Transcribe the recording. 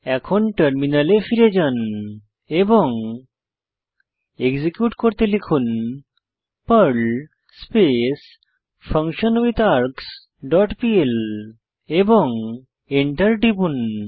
এখন টার্মিনালে ফিরে যান এবং এক্সিকিউট করতে লিখুন পার্ল স্পেস ফাংশনউইটহার্গসহ ডট পিএল এবং এন্টার টিপুন